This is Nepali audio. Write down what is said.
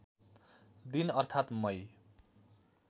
दिन अर्थात् मई